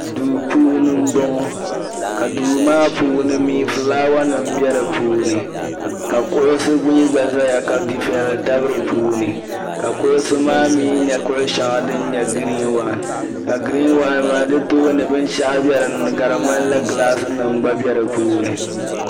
Duu puuni m bo ŋɔ ka duu maa puuni mi ka fulaawasinima be di puuni ka kuɣu mii gba zaya ka dufiɛya tabi di puuni ka kuɣusi maa mi nye kuɣu shɛŋa di nyɛ gireen wan ka gireen wan maa di tooni binshɛɣu be din ni ka di ŋmanila gilaasinim gba be di puuni.